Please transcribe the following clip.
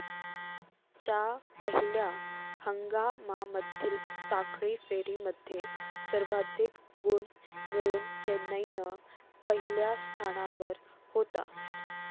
च्या पहिल्या हंगामामधील साखळी फेरीमध्ये सर्वाधिक गुण मिळवून चेन्नईन पहिल्या स्थानावर होता.